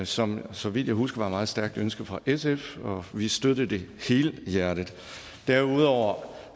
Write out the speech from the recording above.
som så vidt jeg husker var et meget stærkt ønske fra sf og vi støttede det helhjertet derudover